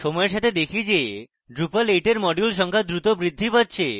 সময়ের সাথে দেখি যে drupal 8 এর modules সংখ্যা দ্রুত বৃদ্ধি পাচ্ছে